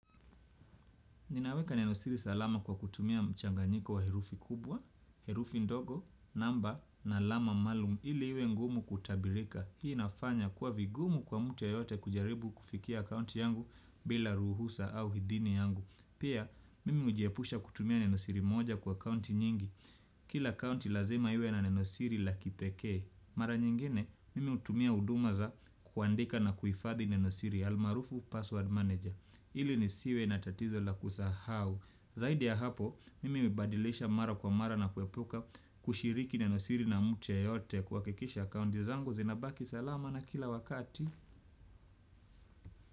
Ninaweka neno siri salama kwa kutumia mchanganyiko wa herufi kubwa, herufi ndogo, namba, na alama maalum, ili iwe ngumu kutabirika. Hii inafanya kuwa vigumu kwa mtu yeyote kujaribu kufikia akaunti yangu bila ruhusa au idhini yangu pia, mimi hujiepusha kutumia neno siri moja kwa account nyingi. Kila account lazima iwe na neno siri la kipekee. Mara nyingine, mimi hutumia huduma za kuandika na kuifadhi neno siri almarufu password manager. Ili nisiwe na tatizo la kusahau. Zaidi ya hapo, mimi hubadilisha mara kwa mara na kuepuka kushiriki neno siri na mtu yeyote kuhakikisha akaunti zangu zinabaki salama na kila wakati.